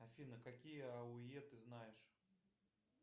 афина какие ауе ты знаешь